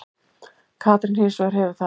Katrín hins vegar hefur það.